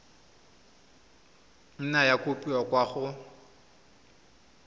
nna ya kopiwa kwa go